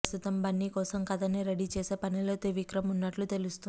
ప్రస్తుతం బన్నీ కోసం కథని రెడీ చేసే పనిలో త్రివిక్రమ్ ఉన్నట్లు తెలుస్తుంది